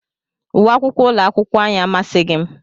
Uwe akwụkwọ ụlọakwụkwọ anyị amasịghị m